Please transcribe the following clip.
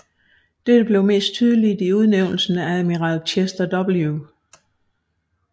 Dette blev mest tydeligt i udnævnelsen af admiral Chester W